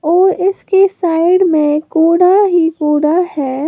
और इसके साइड में कूड़ा ही कूड़ा है।